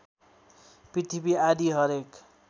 पृथ्वी आदि हरेक